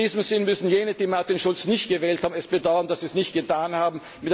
In diesem Sinne müssen jene, die Martin Schulz nicht gewählt haben, bedauern, dass sie es nicht getan haben.